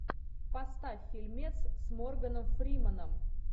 поставь фильмец с морганом фрименом